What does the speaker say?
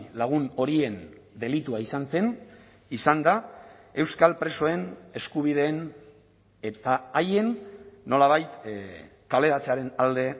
lagun horien delitua izan zen izan da euskal presoen eskubideen eta haien nolabait kaleratzearen alde